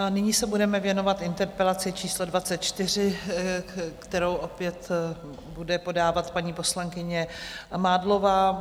A nyní se budeme věnovat interpelaci číslo 24, kterou opět bude podávat paní poslankyně Mádlová.